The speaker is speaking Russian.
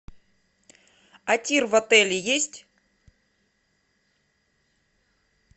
а тир в отеле есть